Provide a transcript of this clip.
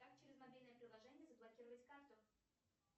как через мобильное приложение заблокировать карту